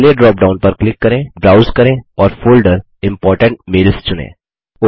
अगले drop down पर click करें ब्राउज़ करें और फोल्डर इम्पोर्टेंट मेल्स चुनें